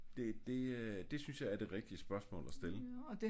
Det det øh det synes jeg er det rigtige spørgsmål at stille